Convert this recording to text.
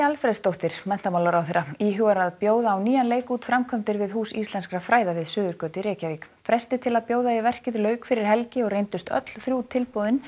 Alfreðsdóttir menntamálaráðherra íhugar að bjóða á nýjan leik út framkvæmdir við Hús íslenskra fræða við Suðurgötu í Reykjavík fresti til að bjóða í verkið lauk fyrir helgi og reyndust öll þrjú tilboðin